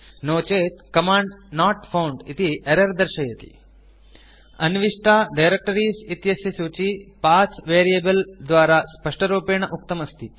नो चेत् command not found इति error दर्श्यते अन्विष्टा डायरेक्टरीज़ इत्यस्य सूची पथ वेरिएबल द्वारा स्पष्टरूपेण उक्तम् अस्ति